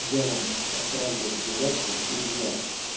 я вам отправлю заявку в друзья